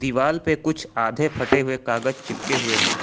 दिवाल पे कुछ आधे फटे हुए कागज चिपके हुए हैं।